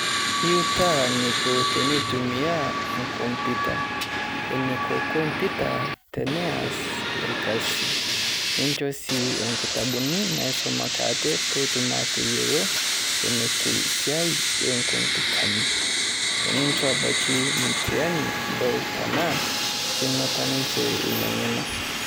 Euutaa neko tenetumia e kompyuta. Neeko kompyuta tenees elkasi ninchoo sii enkitabuni naisomoki atee pee etuum ateiyeloo enetuu siaii e kompyutani. Eninchoo abaaki mtihani adol tanaa enotoo ninchee enia ng'enoo.